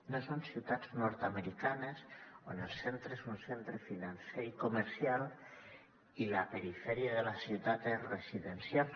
no són ciutats nord americanes on el centre és un centre financer i comercial i la perifèria de la ciutat és residencial